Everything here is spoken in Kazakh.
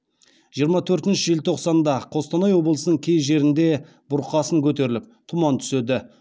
жиырма төртінші желтоқсанда қостанай облысының кей жерлерінде бұрқасын көтеріліп тұман түседі